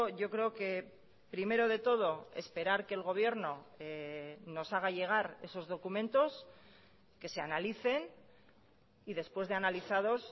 yo creo que primero de todo esperar que el gobierno nos haga llegar esos documentos que se analicen y después de analizados